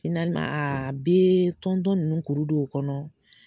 a bɛ tɔntɔn ninnu kuru don u kɔnɔ